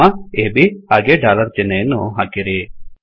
ಆ ಅಬ್ ಹಾಗೇ ಡಾಲರ್ ಚಿಹ್ನೆಯನ್ನು ಹಾಕಿರಿ